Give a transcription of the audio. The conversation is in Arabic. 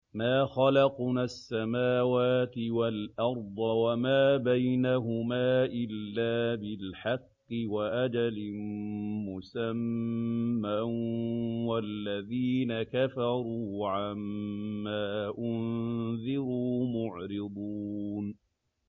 مَا خَلَقْنَا السَّمَاوَاتِ وَالْأَرْضَ وَمَا بَيْنَهُمَا إِلَّا بِالْحَقِّ وَأَجَلٍ مُّسَمًّى ۚ وَالَّذِينَ كَفَرُوا عَمَّا أُنذِرُوا مُعْرِضُونَ